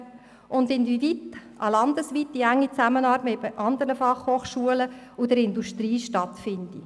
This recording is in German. Weiter sei zu prüfen, inwiefern eine landesweite enge Zusammenarbeit mit anderen FH und der Industrie stattfinde.